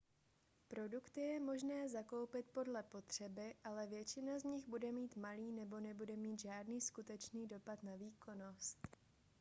produkty je možné zakoupit podle potřeby ale většina z nich bude mít malý nebo nebude mít žádný skutečný dopad na výkonnost